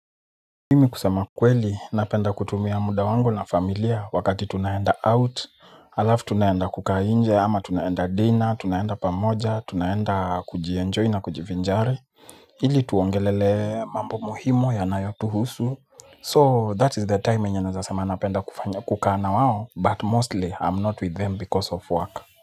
Mimi kusema kweli napenda kutumia muda wangu na familia wakati tunaenda out halafu tunaenda kukaa nje ama tunaenda dinner tunaenda pamoja tunaenda kujienjoy na kujivinjari ili tuongelelee mambo muhimu yanayotuhusu, so that is the time yenye naweza sema napenda kukaa na wao, but mostly I'm not with them because of work.